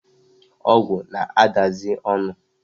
Ogwu na-adazi onu